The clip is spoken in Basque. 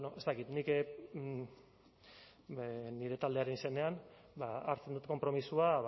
ez dakit nik nire taldearen izenean hartzen dut konpromisoa